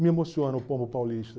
Me emociona o povo paulista.